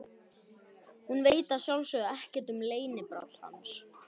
Hún veit að sjálfsögðu ekkert um leynibrall hans.